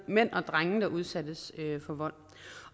mænd og drenge der udsættes for vold